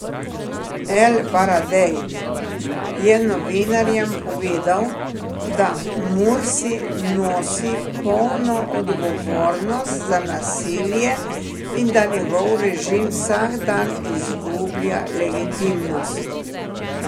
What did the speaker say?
El Baradej je novinarjem povedal, da Mursi nosi polno odgovornost za nasilje in da njegov režim vsak dan izgublja legitimnost.